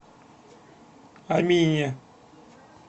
амине